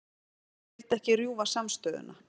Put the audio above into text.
Vildi ekki rjúfa samstöðuna